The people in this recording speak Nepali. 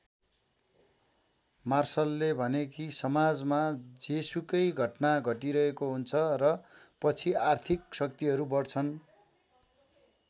मार्शलले भने कि समाजमा जेसुकै घटना घटिरहेको हुन्छ र पछि आर्थिक शक्तिहरू बढ्छन।